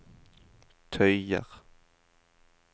tøyer